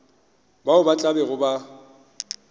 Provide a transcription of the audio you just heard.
bao ba tla bego ba